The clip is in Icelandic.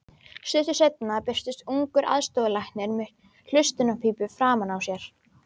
Stuttu seinna birtist ungur aðstoðarlæknir með hlustunarpípu framan á sér.